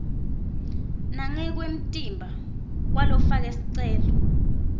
nangekwemtimba kwalofake sicelo